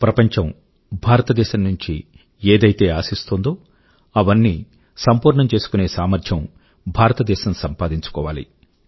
ప్రపంచం భారతదేశం నుంచి ఏదైతే ఆశిస్తోందో అవన్నీ సంపూర్ణం చేసుకునే సామర్థ్యం భారతదేశం సంపాదించుకోవాలి